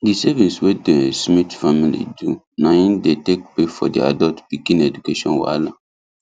the savings wey them smiths family do na him dey take pay for their adult pikin education wahala